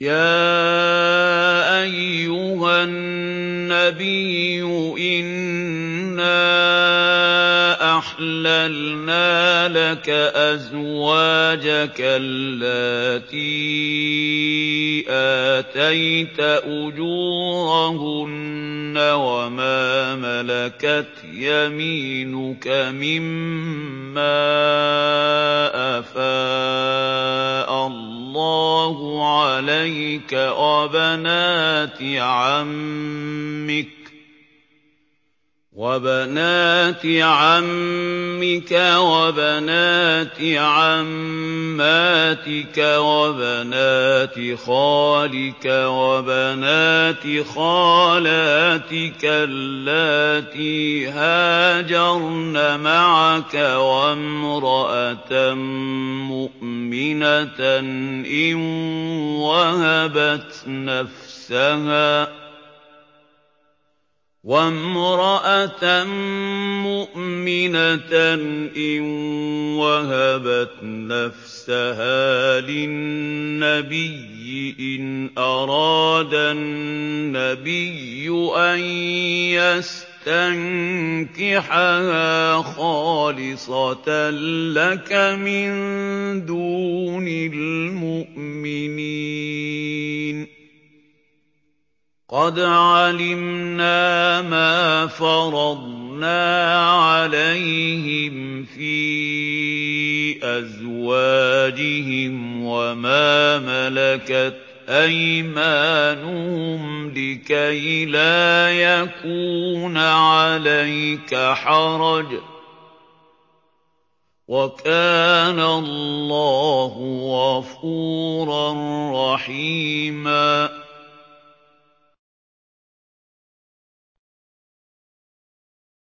يَا أَيُّهَا النَّبِيُّ إِنَّا أَحْلَلْنَا لَكَ أَزْوَاجَكَ اللَّاتِي آتَيْتَ أُجُورَهُنَّ وَمَا مَلَكَتْ يَمِينُكَ مِمَّا أَفَاءَ اللَّهُ عَلَيْكَ وَبَنَاتِ عَمِّكَ وَبَنَاتِ عَمَّاتِكَ وَبَنَاتِ خَالِكَ وَبَنَاتِ خَالَاتِكَ اللَّاتِي هَاجَرْنَ مَعَكَ وَامْرَأَةً مُّؤْمِنَةً إِن وَهَبَتْ نَفْسَهَا لِلنَّبِيِّ إِنْ أَرَادَ النَّبِيُّ أَن يَسْتَنكِحَهَا خَالِصَةً لَّكَ مِن دُونِ الْمُؤْمِنِينَ ۗ قَدْ عَلِمْنَا مَا فَرَضْنَا عَلَيْهِمْ فِي أَزْوَاجِهِمْ وَمَا مَلَكَتْ أَيْمَانُهُمْ لِكَيْلَا يَكُونَ عَلَيْكَ حَرَجٌ ۗ وَكَانَ اللَّهُ غَفُورًا رَّحِيمًا